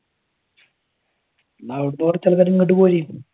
അവിടത്തെ കുറച്ചു ആൾകാർ ഇങ്ങാട്ട് പൊരീ.